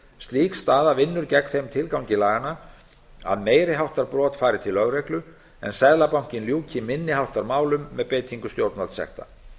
slík staða vinnur gegn þeim tilgangi laganna um að meiri háttar brot fari til lögreglu en seðlabankinn ljúki minni háttar málum með beitingu stjórnvaldssekta